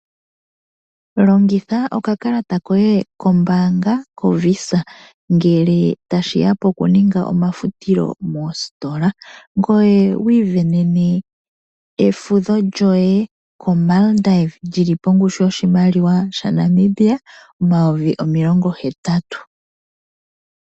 Longitha okakalata koye kombaanga yo Visa ngele tashiya poku ninga omafutilo moositola ngoye wi isindanene efudho lyoye ko Maldive lili pongushu yoshimaliwa sha Namibia omayovi omilongo hetatu.